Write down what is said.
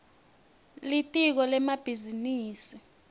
litiko lemabhizinisi